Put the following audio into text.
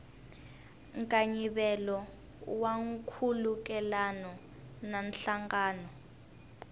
nkayivelo wa nkhulukelano na nhlangano